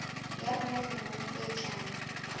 ya rona dilemong tse tlang